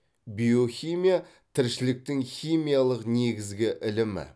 биохимия тіршіліктің химиялық негізгі ілімі